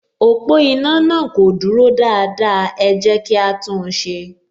Ọ̀pọ̀ iná náà kò dúró dáadáa, ẹ jẹ́ kí á tún un ṣe